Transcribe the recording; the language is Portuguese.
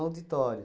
auditório